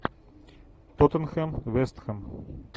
тоттенхэм вест хэм